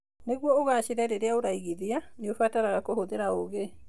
Nĩguo ũgaacĩre rĩrĩa ũraiigithia, nĩ ũbataraga kũhũthĩra ũũgĩ.